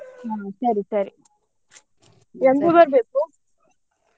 ಹ್ಮ್ ಸರಿ ಸರಿ ಬರ್ಬೇಕು.